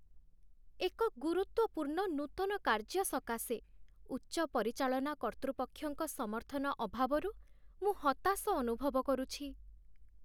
ଏକ ଗୁରୁତ୍ୱପୂର୍ଣ୍ଣ ନୂତନ କାର୍ଯ୍ୟ ସକାଶେ ଉଚ୍ଚ ପରିଚାଳନା କର୍ତ୍ତୃପକ୍ଷଙ୍କ ସମର୍ଥନ ଅଭାବରୁ ମୁଁ ହତାଶ ଅନୁଭବ କରୁଛି।